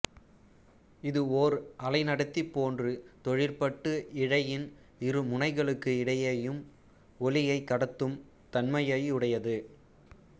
இது ஓர் அலைநடத்தி போன்று தொழிற்பட்டு இழையின் இரு முனைகளுக்கிடையேயும் ஒளியைக் கடத்தும் தன்மையுடையது